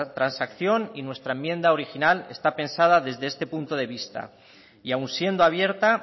transacción y nuestra enmienda original está pensada desde este punto de vista y aun siendo abierta